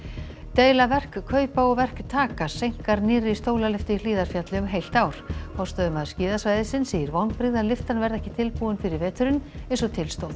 deila verkkaupa og verktaka seinkar nýrri stólalyftu í Hlíðarfjalli um heilt ár forstöðumaður skíðasvæðisins segir vonbrigði að lyftan verði ekki tilbúin fyrir veturinn eins og til stóð